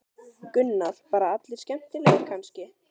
Gunnar: Bara allir skemmtilegir kannski?